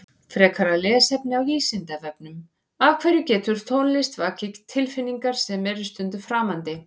Frekara lesefni á Vísindavefnum Af hverju getur tónlist vakið tilfinningar sem eru stundum framandi?